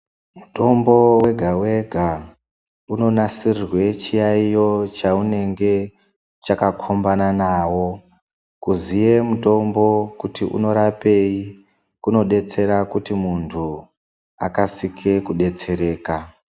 Mitombo wega wega unonasirwa chiyaiyo chaunenge chakakhombana nawo. Kuziye mutombo kuti unorapei kunodetsera kuti muntu akasike kudetsereka.